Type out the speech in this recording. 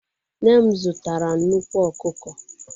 Nne m zụtara nnukwu ọkụkọ.